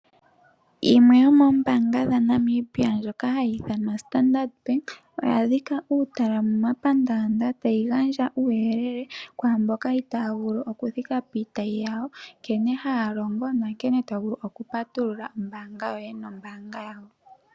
Yimwe yomoombaanga dhaNamibia ndjoka hayi ithanwa Standard Bank oya dhika uutala momapandaanda tayi gandja uuyelele kwaa mboka itaaya vulu okuthika piitayi yawo nkene haya longo na nkene to vulu okupatulula omayalulo goye gombaanga nombaanga yawo.